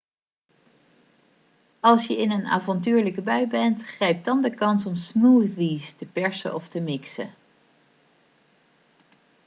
als je in een avontuurlijke bui bent grijp dan de kans om smoothies te persen of te mixen